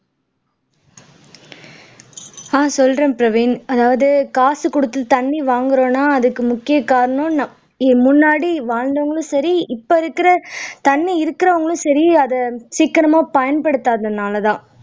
அஹ் சொல்றேன் பிரவீன் அதாவது காசு குடுத்து தண்ணி வாங்குறோம்னா அதுக்கு முக்கிய காரணம் முன்னாடி வாழ்ந்தவுங்களும் சரி இப்ப இருக்கிற தண்ணி இருக்கிறவங்களும் சரி அதை சிக்கனமா பயன்படுத்தாததுனால தான்